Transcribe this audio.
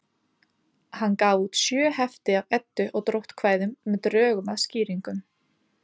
Hann gaf út sjö hefti af Eddu- og dróttkvæðum með drögum að skýringum.